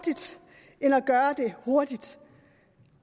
hellere gøre det hurtigt